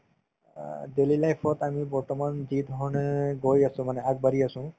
অ, daily life ত আমি বৰ্তমান যি ধৰণে গৈ আছো মানে আগবাঢ়ি আছো